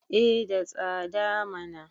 eh da tsada mana